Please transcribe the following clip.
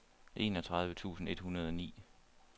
enogtredive tusind et hundrede og ni